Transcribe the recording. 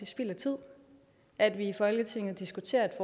spild af tid at vi i folketinget diskuterer et